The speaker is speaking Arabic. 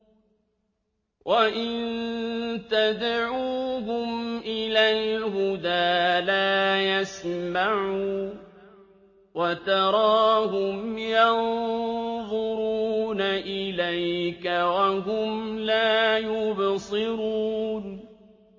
وَإِن تَدْعُوهُمْ إِلَى الْهُدَىٰ لَا يَسْمَعُوا ۖ وَتَرَاهُمْ يَنظُرُونَ إِلَيْكَ وَهُمْ لَا يُبْصِرُونَ